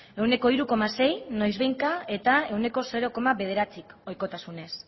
ehuneko hiru koma sei noizbehinka eta ehuneko zero koma bederatzik ohikotasunez